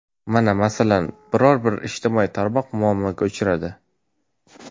Mana, masalan, biror-bir ijtimoiy tarmoq muammoga uchradi.